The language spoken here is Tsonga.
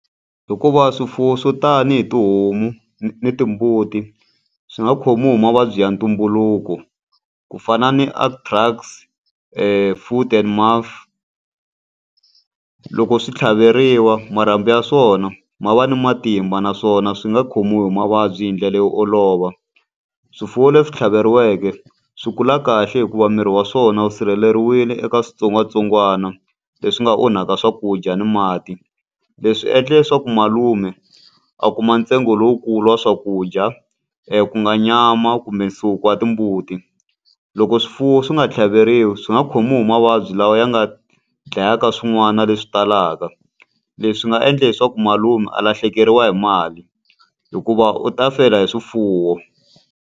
Hikuva swifuwo swo tanihi tihomu na timbuti swi nga khomiwi hi mavabyi ya ntumbuluko, ku fana ni foot-and-mouth. Loko swi tlhaveriwa marhambu ya swona ma va ni matimba naswona swi nga khomiwi hi mavabyi hi ndlela yo olova. Swifuwo leswi tlhaveriwile swi kula kahle hikuva miri wa swona wu sirheleriwile eka switsongwatsongwana leswi nga onhaka swakudya ni mati. Leswi endla leswaku malume a kuma ntsengo lowukulu wa swakudya, ku nga nyama kumbe nsuku ya timbuti. Loko swifuwo swi nga tlhaveteriwi swi nga munhu mavabyi lawa ya nga dlayaka swin'wana leswi talaka, leswi nga endla leswaku malume a lahlekeriwa hi mali. Hikuva u ta fela hi swifuwo.